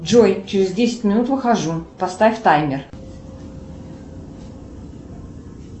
джой через десять минут выхожу поставь таймер